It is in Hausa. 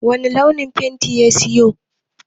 Wani launin fenti ya sayo?